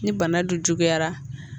Ni bana dun juguyara.